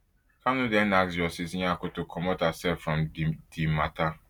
kanu den ask justice nyako to comot herself from di di matter